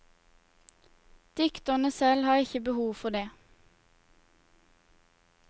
Dikterne selv har ikke behov for det.